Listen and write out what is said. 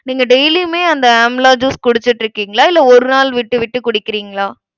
நீங்க daily யுமே அந்த amla juice குடிச்சிட்டிருக்கீங்களா இல்ல ஒரு நாள் விட்டு விட்டு குடிக்கிறீங்களா